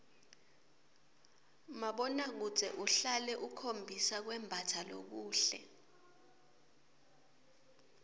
mabonakudze uhlale ukhombisa kwembatsa lokuhle